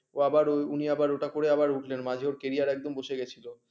ও আবার উনি ওটা করে আবার উঠলেন মাঝে career একদম বসে গেছিল